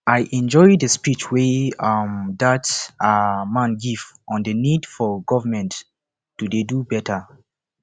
i enjoy the speech wey um dat um man give on the need for government to dey do beta